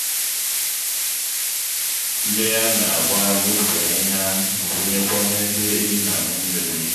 mmiri ana-agba n'ubi ahịhịa na-awụńyekwa n'ebe ehi n'aṅụ mmiri